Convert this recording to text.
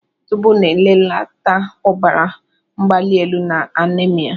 Zóbó na-èbelata ọbara mgbali élù na anémia